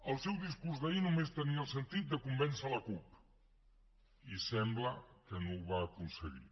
el seu discurs d’ahir només tenia el sentit de convèncer la cup i sembla que no ho va aconseguir